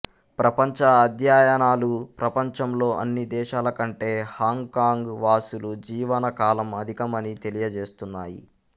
ప్రంపంచ అధ్యయనాలు ప్రపంచంలో అన్ని దేశాలకంటే హాంగ్ కాంగ్ వాసుల జీవన కాలం అధికమని తెలియజేస్తున్నాయి